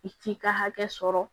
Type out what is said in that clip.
I t'i ka hakɛ sɔrɔ